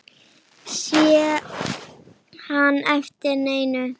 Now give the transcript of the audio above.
Sé ekki eftir neinu.